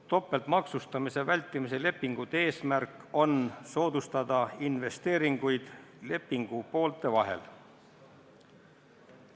Topeltmaksustamise vältimise lepingute eesmärk on soodustada investeeringuid lepingupoolte vahel.